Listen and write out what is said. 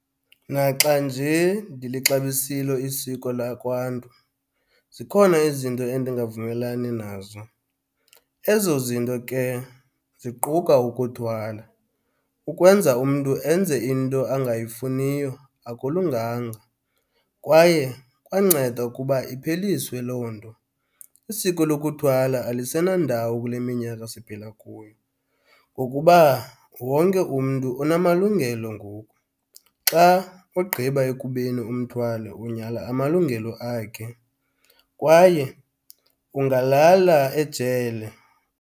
Naxa nje ndilixabisile isiko lakwaNtu zikhona izinto endingavumelani nazo, ezo zinto ke ziquka ukuthwala. Ukwenza umntu enze into angayifuniyo akulunganga kwaye kwanceda ukuba ipheliswe loo nto. Isiko lokuthwala alisenandawo kule minyaka siphila kuyo ngokuba wonke umntu unamalungelo ngoku. Xa ugqiba ekubeni umthwale unyhala amalungelo akhe kwaye ungalala ejele.